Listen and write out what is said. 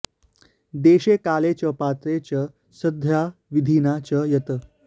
देशे काले च पात्रे च श्रद्धया विधिना च यत्